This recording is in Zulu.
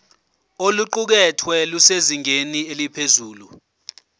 oluqukethwe lusezingeni eliphezulu